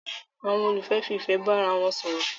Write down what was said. Àwon olólùfẹ́ fi ìfẹ́ bá ara won sòrò